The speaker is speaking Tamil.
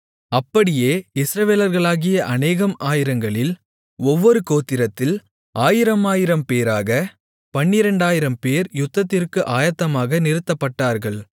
அப்படியே இஸ்ரவேலர்களாகிய அநேகம் ஆயிரங்களில் ஒவ்வொரு கோத்திரத்தில் ஆயிரமாயிரம் பேராகப் 12000 பேர் யுத்தத்திற்கு ஆயத்தமாக நிறுத்தப்பட்டார்கள்